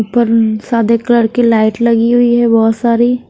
ऊपर उ सादे कलर की लाइट लगी हुई है बहुत सारी।